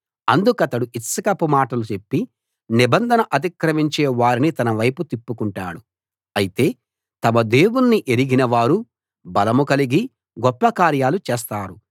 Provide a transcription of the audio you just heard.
అందుకతడు ఇచ్చకపు మాటలు చెప్పి నిబంధన అతిక్రమించే వారిని తన వైపు తిప్పుకుంటాడు అయితే తమ దేవుణ్ణి ఎరిగిన వారు బలం కలిగి గొప్ప కార్యాలు చేస్తారు